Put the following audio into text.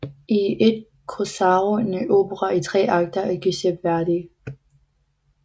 Il corsaro er en opera i tre akter af Giuseppe Verdi